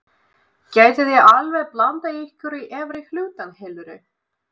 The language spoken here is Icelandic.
Gætuð þið alveg blandað ykkur í efri hlutann heldurðu?